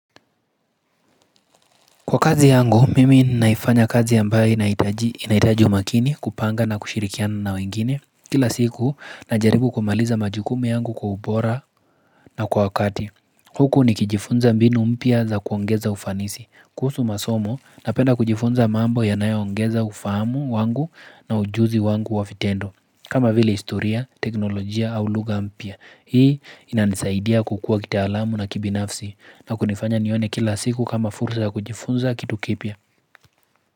Kwa kazi yangu mimi naifanya kazi mbaye inaitaji umakini kupanga na kushirikiana na wengine Kila siku na jaribu kumaliza majukumu yangu kwa ubora na kwa wakati Huku nikijifunza mbinu mpya za kuongeza ufanisi kuhusu masomo napenda kujifunza mambo yanaya ongeza ufamu wangu na ujuzi wangu wavitendo kama vile historia, teknolojia au luga mpya Hii inanisaidia kukua kitaalamu na kibinafsi na kunifanya nione kila siku kama fursa kujifunza kitu kipya.